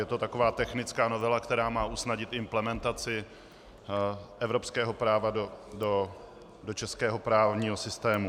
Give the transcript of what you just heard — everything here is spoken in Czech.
Je to taková technická novela, která má usnadnit implementaci evropského práva do českého právního systému.